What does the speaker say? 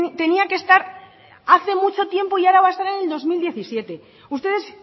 tenía que estar hace mucho tiempo y ahora va a estar en el dos mil diecisiete ustedes